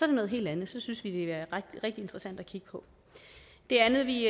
det noget helt andet så synes vi det er rigtig interessant at kigge på det andet vi